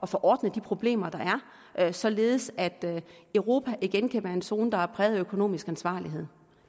få ordnet de problemer der er således at europa igen kan være en zone der er præget af økonomisk ansvarlighed